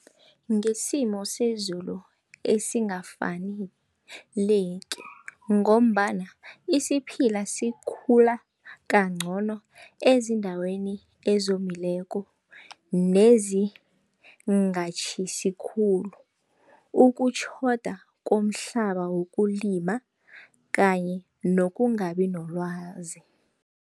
Ngesimo sezulu esingakafaneleki ngombana isiphila sikhula kancono ezindaweni ezomileko nezingatjhisi khulu, ukutjhoda komhlaba wokulima kanye nokungabi nolwazi.